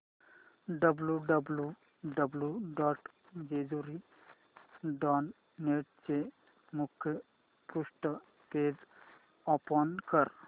W W W dot Jejuri dot net चे मुखपृष्ठ page open कर